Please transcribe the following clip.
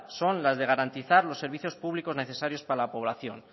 son la de garantizar los servicios públicos para la población